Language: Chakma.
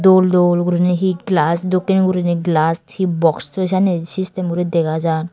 dol dol guriney hi glas dokken guriney glas hi boxoi senne sistem guriney dega jan.